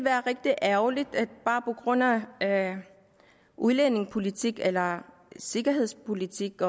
er rigtig ærgerligt at udlændingepolitik eller sikkerhedspolitik